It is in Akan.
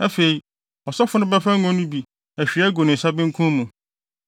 Afei, ɔsɔfo no bɛfa ngo no bi ahwie agu ne nsa benkum mu